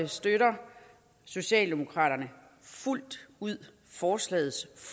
støtter socialdemokraterne fuldt ud forslagets